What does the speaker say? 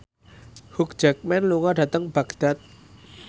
Hugh Jackman lunga dhateng Baghdad